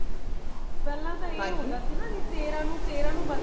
ਪਹਿਲਾਂ ਤਾ ਇਹ ਹੋਂਦਾ ਸੀ ਗਾ ਤੇਰਾ ਨੂੰ ਤੇਰਾ ਨੂੰ